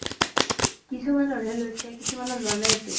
কিছুমানৰ হে লৈছে কিছুমানৰ লুৱা নাইতো